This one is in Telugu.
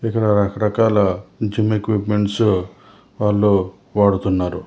ఇక్కడ రకాల జిమ్ ఎక్యుప్మెంట్సు వాళ్లు వాడుతున్నారు.